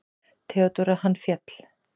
THEODÓRA: Hann féll!